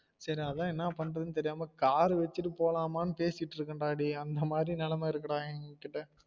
சரி அதான் என்னா பண்றதுன்னு தெரியாம car வச்சிட்டு போலாமான்னு பேசிட்டு இருக்கன் டா டேயி அந்த மாதிரி நெலம இருக்கு டா என்கிட்ட